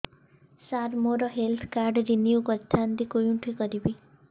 ସାର ମୋର health card renew କରିଥାନ୍ତି କେଉଁଠି କରିବି